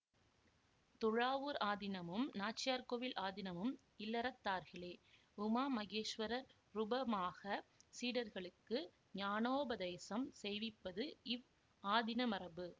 துழாவூர் ஆதீனமும் நாச்சியார்கோயில் ஆதீனமும் இல்லறத்தார்களே உமாமகேஸ்வரர் ருபமாகச் சீடர்களுக்கு ஞானோபதேசம் செய்விப்பது இவ் ஆதீன மரபு